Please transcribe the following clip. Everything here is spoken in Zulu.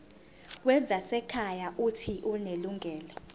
wezasekhaya uuthi unelungelo